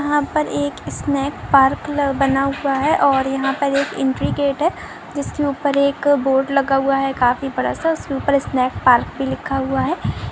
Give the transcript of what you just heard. यहाँ पर एक स्नेक पार्क ल-- बना हुआ है। और यहाँ पर एक एंट्री गेट है। जिसके उपर एक बोर्ड लगा हुआ है। काफी बड़ा सा उसके उपर स्नेक पार्क भी लिखा हुआ है।